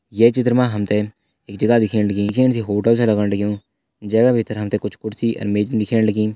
ये चित्र मा हम ते एक जगह दिखेण लगीं जु दिखेण से एक होटल छ लगण लग्युं जैका भितर हम ते कुछ कुर्सी आर मेजन दिखेण लगीं।